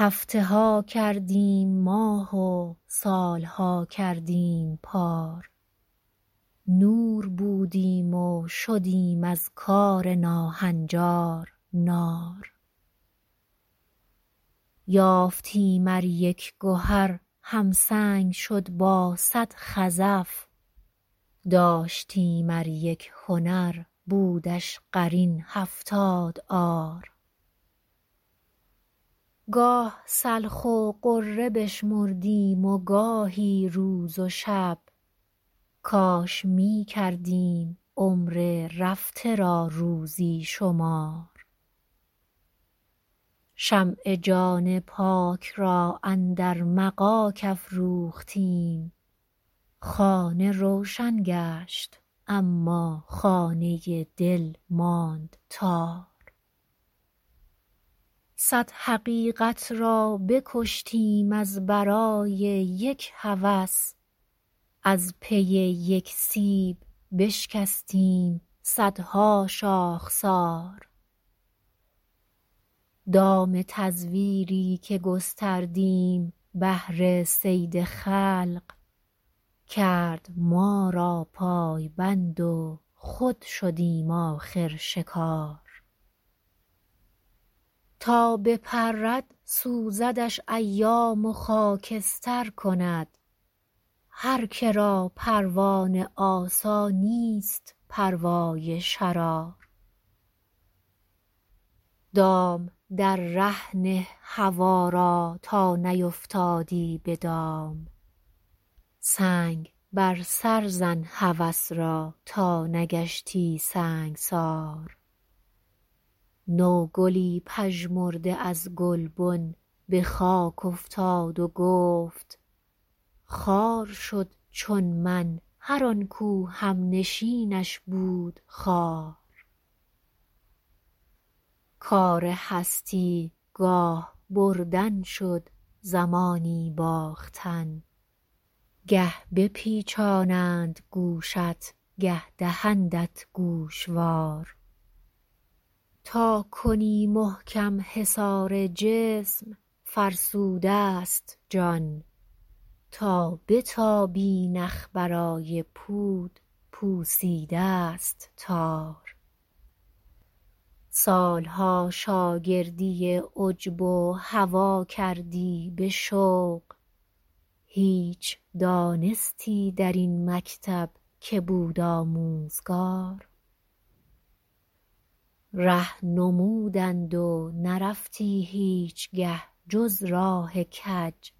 هفته ها کردیم ماه و سالها کردیم پار نور بودیم و شدیم از کار ناهنجار نار یافتیم ار یک گهر همسنگ شد با صد خزف داشتیم ار یک هنر بودش قرین هفتاد عار گاه سلخ و غره بشمردیم و گاهی روز و شب کاش میکردیم عمر رفته را روزی شمار شمع جان پاک را اندر مغاک افروختیم خانه روشن گشت اما خانه دل ماند تار صد حقیقت را بکشتیم از برای یک هوس از پی یک سیب بشکستیم صدها شاخسار دام تزویری که گستردیم بهر صید خلق کرد ما را پایبند و خود شدیم آخر شکار تا بپرد سوزدش ایام و خاکستر کند هر که را پروانه آسانیست پروای شرار دام در ره نه هوی را تا نیفتادی بدام سنگ بر سر زن هوس را تا نگشتی سنگسار نوگلی پژمرده از گلبن بخاک افتاد و گفت خوار شد چون من هر آنکو همنشینش بود خار کار هستی گاه بردن شد زمانی باختن گه بپیچانند گوشت گه دهندت گوشوار تا کنی محکم حصار جسم فرسود است جان تا بتابی نخ برای پود پوسیداست تار سالها شاگردی عجب و هوی کردی بشوق هیچ دانستی در این مکتب که بود آموزگار ره نمودند و نرفتی هیچگه جز راه کج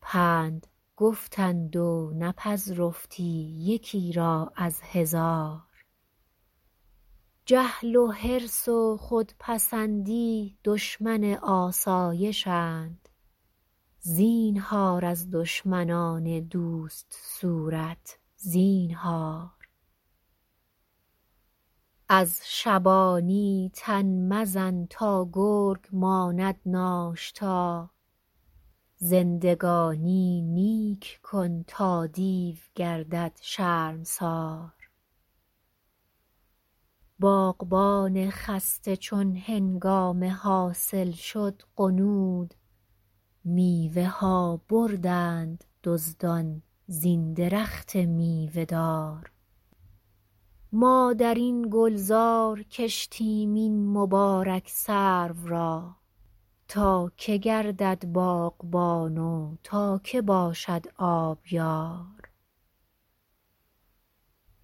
پند گفتند و نپذرفتی یکی را از هزار جهل و حرص و خودپسندی دشمن آسایشند زینهار از دشمنان دوست صورت زینهار از شبانی تن مزن تا گرگ ماند ناشتا زندگانی نیک کن تا دیو گردد شرمسار باغبان خسته چون هنگام حاصل شد غنود میوه ها بردند دزدان زین درخت میوه دار ما درین گلزار کشتیم این مبارک سرو را تا که گردد باغبان و تا که باشد آبیار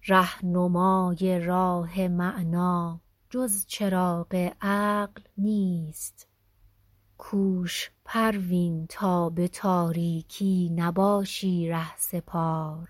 رهنمای راه معنی جز چراغ عقل نیست کوش پروین تا به تاریکی نباشی رهسپار